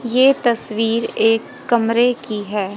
ये तस्वीर एक कमरे की है।